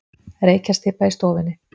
Reykjarstybba í stofunni.